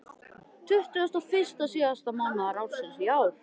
Tuttugasta og fyrsta síðasta mánaðar ársins í ár.